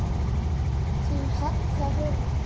Þín Halla Hrund.